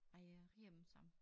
Ej jeg rier dem sammen